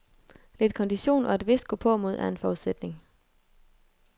Lidt kondition og et vist gåpåmod er en forudsætning.